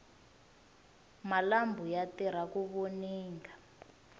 malambhu ya tirha ku voninga